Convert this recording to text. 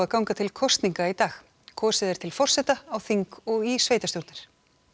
ganga til kosninga í dag kosið er til forseta á þing og í sveitarstjórnir